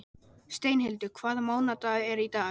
Steinhildur, hvaða mánaðardagur er í dag?